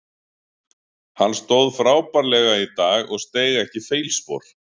Hann stóð frábærlega í dag og steig ekki feilspor.